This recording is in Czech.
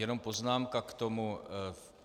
Jenom poznámka k tomu.